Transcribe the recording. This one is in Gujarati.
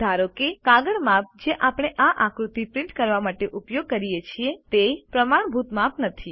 ધારો કે કાગળ માપ જે આપણે આ આકૃતિ પ્રિન્ટ કરવા માટે ઉપયોગ કરીએ છીએ તે પ્રમાણભૂત માપ નથી